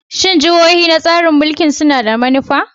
Shin jihohi na tsarin mulkin suna da manufa?